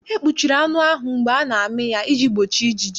E kpuchiri anụ ahụ mgbe a na-amị ya iji gbochi ijiji.